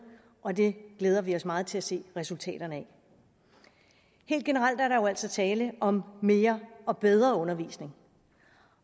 og det glæder vi os meget til at se resultaterne af helt generelt er der jo altså tale om mere og bedre undervisning